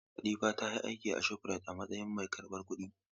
Latifa ta yi aiki a Shofrayit a matsayin mai karbar kuɗi.